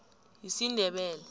yisindebele